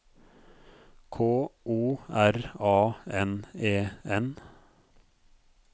K O R A N E N